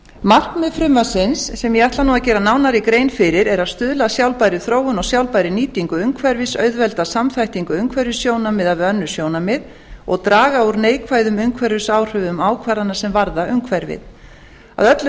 markmið frumvarpsins sem ég ætla að gera nánari grein fyrir er að stuðla að sjálfbærri þróun og sjálfbærri nýtingu umhverfis auðvelda samþættingu umhverfissjónarmiða við önnur sjónarmið og draga úr neikvæðum umhverfisáhrifum ákvarðana sem varða umhverfið að öllu